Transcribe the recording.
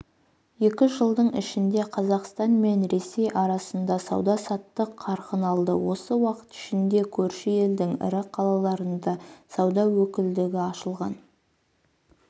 екі жылдың ішінде қазақстан мен ресей арасында сауда-саттық қарқын алды осы уақыт ішінде көрші елдің ірі қалаларында сауда өкілдігі ашылған